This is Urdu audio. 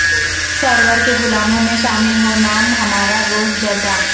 سرور کے غلاموں میں شامل ہو نام ہمارا روز جزا